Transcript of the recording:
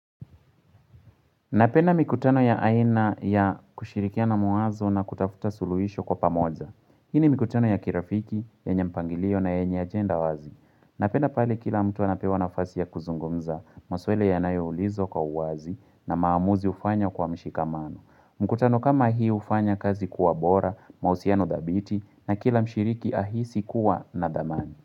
Napenda mikutano ya aina ya kushirikiana mawazo na kutafuta suluhisho kwa pamoja. Hii ni mikutano ya kirafiki, yenye mpangilio na yenye agenda wazi. Napenda pale kila mtu anapewa nafasi ya kuzungumza maswali yanayo ulizwa kwa uwazi na maamuzi hufanywa kwa mshikamano. Mikutano kama hii hufanya kazi kuwa bora, mahusiano dhabiti na kila mshiriki ahisi kuwa na dhamani.